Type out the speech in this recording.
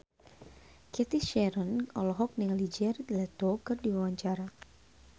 Cathy Sharon olohok ningali Jared Leto keur diwawancara